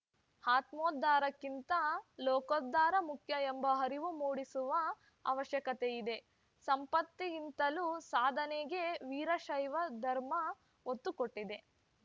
ಆತ್ಮೋದ್ಧಾರಕ್ಕಿಂತ ಲೋಕೋದ್ಧಾರ ಮುಖ್ಯ ಎಂಬ ಅರಿವು ಮೂಡಿಸುವ ಅವಶ್ಯಕತೆಯಿದೆ ಸಂಪತ್ತಿಗಿಂತಲೂ ಸಾಧನೆಗೆ ವೀರಶೈವ ಧರ್ಮ ಒತ್ತು ಕೊಟ್ಟಿದೆ